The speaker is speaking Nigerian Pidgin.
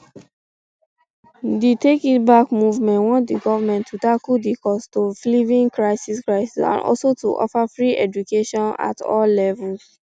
um di take it back movement want di goment to tackle di costofliving crisis crisis and also to offer free education at all um levels